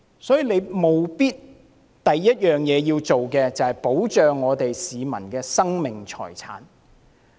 所以，政府的首要任務是保障市民生命財產的安全。